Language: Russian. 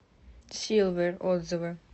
силвер отзывы